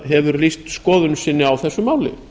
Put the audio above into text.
hefur lýst skoðun sinni á þessu máli